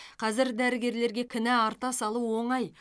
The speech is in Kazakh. қазір дәрігерлерге кінә арта салу оңай